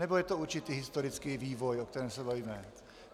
Nebo je to určitý historický vývoj, o kterém se bavíme?